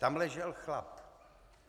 Tam ležel chlap.